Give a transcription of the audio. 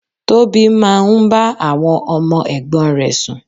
Tóbi máa ń bá àwọn ọmọ ẹ̀gbọ́n rè sùn.